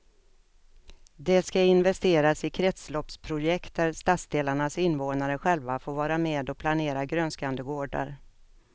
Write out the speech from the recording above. Det ska investeras i kretsloppsprojekt där stadsdelarnas invånare själva får vara med och planera grönskande gårdar.